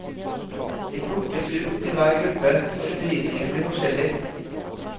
De plukkes ut til hver gruppe, så undervisningen blir forskjellig.